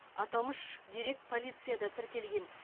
аталмыш дерек полицияда тіркелген